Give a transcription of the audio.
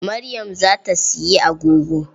Maryam za ta siyi agogo.